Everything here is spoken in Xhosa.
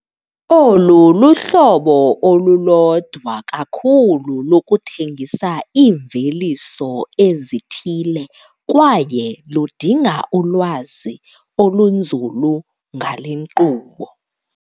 Olu luhlobo olulodwa kakhulu lokuthengisa iimveliso ezithile kwaye ludinga ulwazi olunzulu ngale nkqubo.